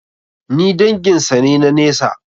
Ni dangin sa ne na nesa.